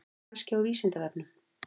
Kannski á Vísindavefnum?